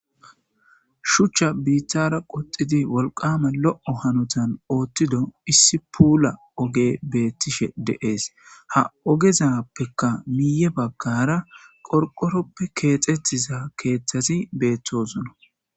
Shuchcha biittara qoxxidi wolqqama lo'o hanottan oththido issi puula oggey bettishe de'es ha oggezappeka miye baggara qorqqoroppe kexxetiza keththati bettosona.